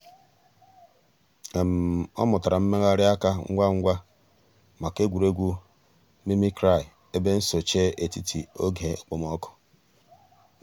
ọ̀ mùtárà mmèghàrì àkà ngwá ngwá mǎká ègwè́régwụ̀ mimicry èbè nsòché ètítì ògè òkpòmọ́kụ̀.